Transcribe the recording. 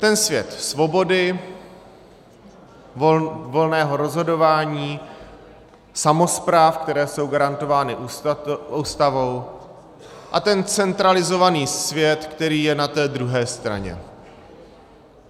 Ten svět svobody, volného rozhodování samospráv, které jsou garantovány Ústavou, a ten centralizovaný svět, který je na té druhé straně.